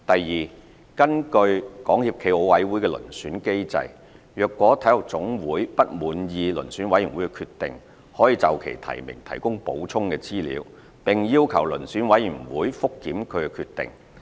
二根據港協暨奧委會的遴選機制，若體育總會不滿意遴選委員會的決定，可就其提名提供補充資料，並要求遴選委員會覆檢其決定。